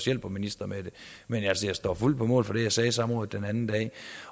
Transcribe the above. hjælper ministre med det men altså jeg står fuldt på mål for det jeg sagde under samrådet den anden dag